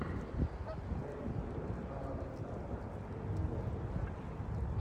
найди кино аманда сайфред снегоуборщик